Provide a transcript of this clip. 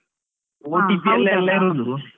ಇರೋದು.